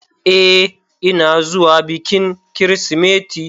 Ee, ina zuwa bikin Kirsimeti.